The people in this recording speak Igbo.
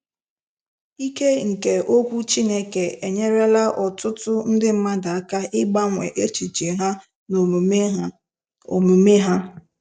Ike nke okwu Chineke enyerela ọtụtụ ndị mmadụ aka ịgbanwe echiche ha na omume ha. omume ha.